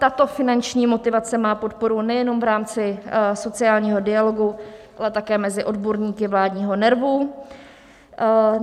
Tato finanční motivace má podporu nejenom v rámci sociálního dialogu, ale také mezi odborníky vládního NERVu.